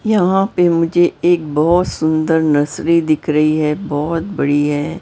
यहां पे मुझे एक बहुत सुंदर नर्सरी दिख रही है बहुत बड़ी है।